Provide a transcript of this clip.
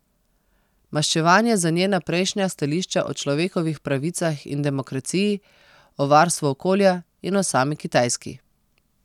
Maščevanje za njena prejšnja stališča o človekovih pravicah in demokraciji, o varstvu okolja in o sami Kitajski.